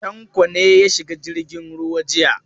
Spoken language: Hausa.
Tanko ne ya shiga jirgin ruwa jiya?